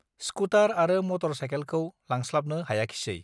scooter आरो motor साइखेलखौ लांस्लाबनो हायाखिसै